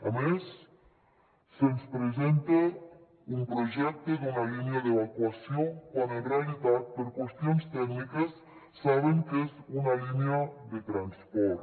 a més se’ns presenta un projecte d’una línia d’evacuació quan en realitat per qüestions tècniques saben que és una línia de transport